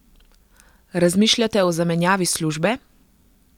Razmišljate o zamenjavi službe?